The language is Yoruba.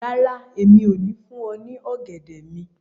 Rara, Emi o ni fun ọ ni ogẹdẹ mi